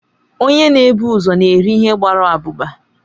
Onye na ebu ụzọ n'eri ihe gbara abụba